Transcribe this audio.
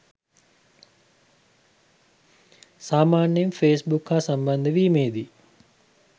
සාමාන්‍යයෙන් ෆේස්බුක් හා සම්බන්ධ වීමේදී